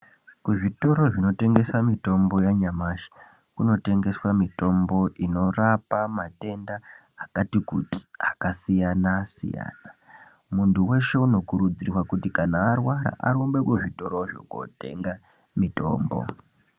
Kuzvitoro zvinotengese mitombo yanyamashi kunotengeswe mitombo inorapa matenda akati kuti akasiyana siyana, muntu weshe unokurudzirwa kuti kana arwara arumbe kuzvitorozvo kotenga mitombo.